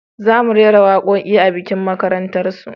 Za mu rera waƙoƙi a bikin makarantar su